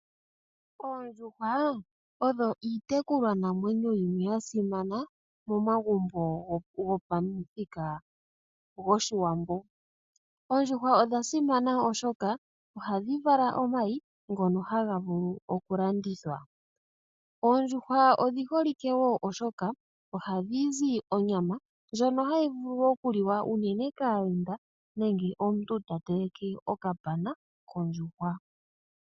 Oondjuhwa odho iitekulwa namwenyo yimwe ya simana momagumbo gopamuthika goshiwambo. Oondjuhwa odha simana oshoka ohadhi vala omayi ngono haga vulu oku landithwa. Oondjuhwa odhi holike wo oshoka ohadhi zi onyama ndjono hayi vulu oku liwa unene kaayenda nenge omuntu ta teleke okapana kondjuhwa.